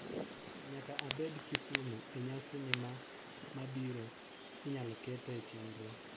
Nyaka abed Kisumu e nyasi ni ma mabiro, inyalo kete e chenro